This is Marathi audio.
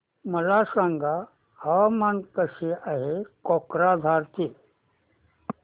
मला सांगा हवामान कसे आहे कोक्राझार चे